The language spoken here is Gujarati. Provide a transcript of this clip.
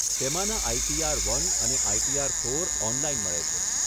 તેમાંના આઇટીઆર વન અને આઇટીઆર ફોર ઓનલાઈન મળે છે.